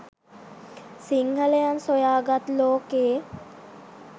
සිංහලයන් සොයා ගත් ලෝකෙ